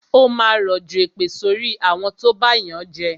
Ó máa rọ̀jọ̀ èpè sorí àwọn tó bá yànjẹ